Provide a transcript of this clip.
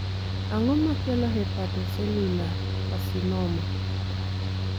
Ang'o makelo hepatocellular carcinoma